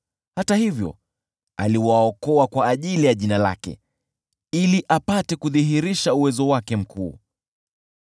Hata hivyo aliwaokoa kwa ajili ya jina lake, ili apate kudhihirisha uweza wake mkuu.